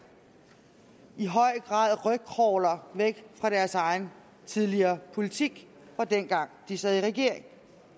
i høj grad rygcrawler væk fra deres egen tidligere politik fra dengang de sad i regering